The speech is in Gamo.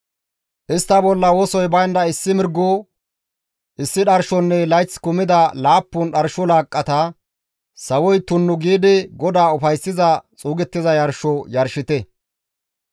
Istta bolla wosoy baynda issi mirgo, issi dharshonne layth kumida laappun dharsho laaqqata sawoy tunnu giidi GODAA ufayssiza xuugettiza yarsho yarshite.